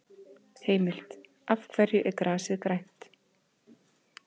Heimild: Af hverju er grasið grænt?